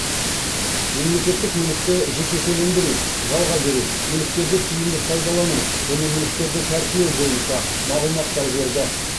мемлекеттік мүлікті жекешелендіру жалға беру мүліктерді тиімді пайдалану және мүліктерді тәркілеу бойынша мағлұматтар берді